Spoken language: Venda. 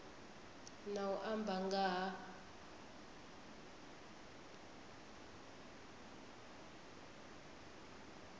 na u amba nga ha